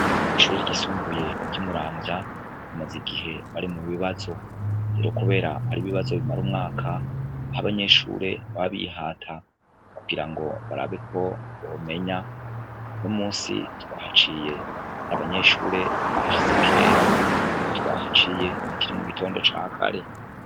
Mw'ishure ryisumbuye ry'i Muramvya bamaze igihe bari mu bibazo. Kubera ari ibibazo bimara umwaka, aho abanyeshure baba bihata kugira ngo barabe ko bomenya. Uno musi twahaciye abanyeshure bahashitse kera, twahaciye hakiri mu gitondo ca kare.